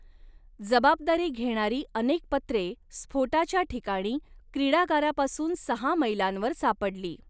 जबाबदारी घेणारी अनेक पत्रे स्फोटाच्या ठिकाणी, क्रिडागारापासून सहा मैलांवर सापडली.